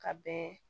Ka bɛn